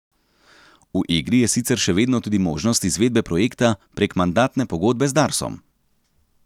V igri je sicer še vedno tudi možnost izvedbe projekta prek mandatne pogodbe z Darsom.